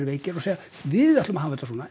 veikir og segja við ætlum að hafa þetta svona